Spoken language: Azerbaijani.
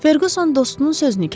Ferquson dostunun sözünü kəsdi.